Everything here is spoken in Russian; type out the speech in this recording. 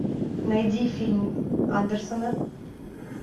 найди фильм андерсона